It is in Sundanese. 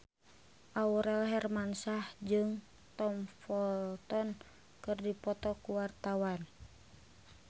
Aurel Hermansyah jeung Tom Felton keur dipoto ku wartawan